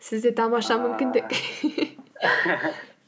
сізде тамаша